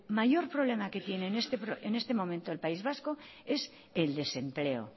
mayor problema que tiene en este momento el país vasco es el desempleo